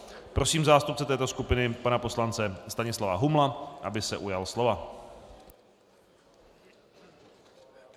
Prosím zástupce této skupiny pana poslance Stanislava Humla, aby se ujal slova.